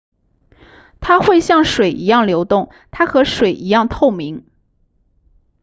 它会像水一样流动它和水一样透明